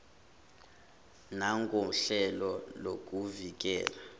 nangohlelo lokuvi kela